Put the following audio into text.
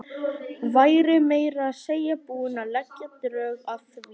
Væri meira að segja búin að leggja drög að því.